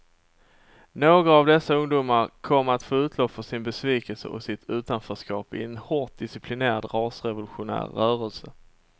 Några av dessa ungdomar kom att få utlopp för sin besvikelse och sitt utanförskap i en hårt disciplinerad rasrevolutionär rörelse.